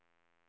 Tollarp